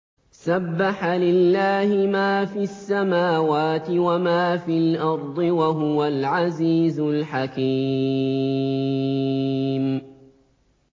سَبَّحَ لِلَّهِ مَا فِي السَّمَاوَاتِ وَمَا فِي الْأَرْضِ ۖ وَهُوَ الْعَزِيزُ الْحَكِيمُ